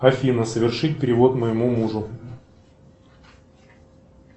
афина совершить перевод моему мужу